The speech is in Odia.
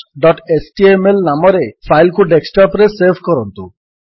searchଏଚଟିଏମଏଲ ନାମରେ ଫାଇଲ୍ କୁ ଡେସ୍କଟପ୍ ରେ ସେଭ୍ କରନ୍ତୁ